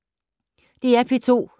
DR P2